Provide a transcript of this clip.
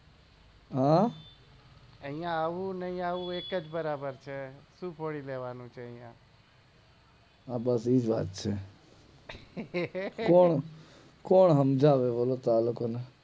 હે આઇયા આવું ના એવું એક જ બરાબર છે શું ફોડી લેવાનું છે આઇયા આ બધી જ વાત છે કોણ કોણ હમજાવે આ લોકો ને